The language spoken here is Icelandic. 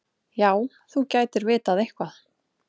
Já, þú gætir vitað eitthvað.